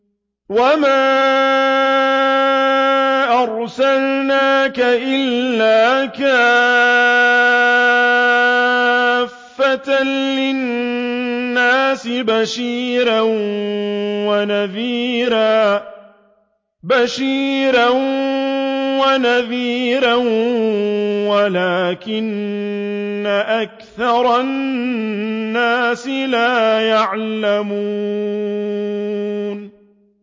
وَمَا أَرْسَلْنَاكَ إِلَّا كَافَّةً لِّلنَّاسِ بَشِيرًا وَنَذِيرًا وَلَٰكِنَّ أَكْثَرَ النَّاسِ لَا يَعْلَمُونَ